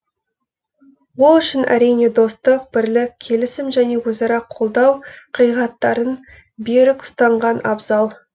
ол үшін әрине достық бірлік келісім және өзара қолдау қағидаттарын берік ұстанған абзал